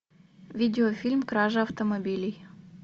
видеофильм кража автомобилей